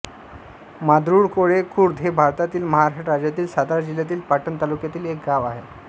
मांदरूळकोळे खुर्द हे भारतातील महाराष्ट्र राज्यातील सातारा जिल्ह्यातील पाटण तालुक्यातील एक गाव आहे